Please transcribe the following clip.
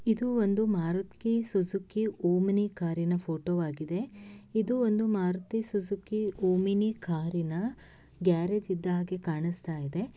ಇದು ಒಂದು Maruti Suzuki Omni ಕಾರಿನ ಫೋಟೋ ಆಗಿದೆ ಇದು ಒಂದು ಮಾರುತಿ ಸೂಝಿಕಿ ಓಮಿನಿ ಕಾರಿನ ಗ್ಯಾರೇಜ್ ಇದ್ದ ಹಾಗೆ ಕಾಣಸ್ತ ಇದೆ.